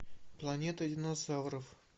планета динозавров